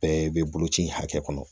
Bɛɛ bɛ boloci in hakɛ kɔnɔ